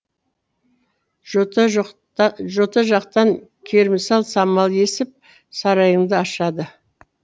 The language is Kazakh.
жота жақтан керімсал самал есіп сарайыңды ашады